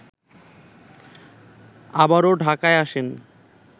আবারো ঢাকায় আসেন